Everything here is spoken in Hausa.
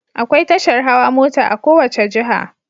Akwai tashar hawa mota a kowacce jiha